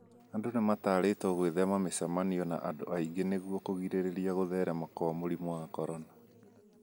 Andũ nĩ mataritwo gwĩthema micemanio na andũ aingĩ nĩguo kũrigĩriria gũtherema kwa mũrimũ wa corona